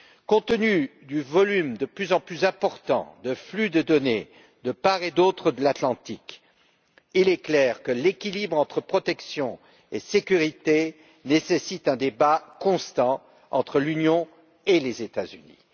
Compte tenu du volume de plus en plus important du flux de données de part et d'autre de l'Atlantique, il est clair que l'équilibre entre protection et sécurité nécessite un débat constant entre l'Union et les États Unis.